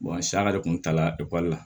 sa yɛrɛ kun tala ekɔli la